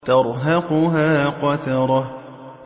تَرْهَقُهَا قَتَرَةٌ